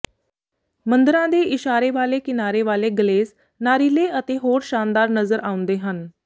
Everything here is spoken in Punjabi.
ਮੰਦਰਾਂ ਦੇ ਇਸ਼ਾਰੇ ਵਾਲੇ ਕਿਨਾਰੇ ਵਾਲੇ ਗਲੇਸ ਨਾਰੀਲੇ ਅਤੇ ਹੋਰ ਸ਼ਾਨਦਾਰ ਨਜ਼ਰ ਆਉਂਦੇ ਹਨ